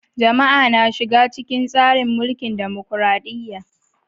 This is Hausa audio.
Jama'a na shiga cikin tsarin mulkin dimokradiyya.